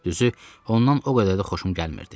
Düzü, ondan o qədər də xoşum gəlmirdi.